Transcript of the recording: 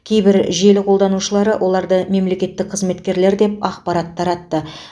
кейбір желі қолданушылары оларды мемлекеттік қызметкерлер деп ақпарат таратты